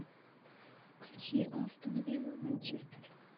включи астон вилла манчестер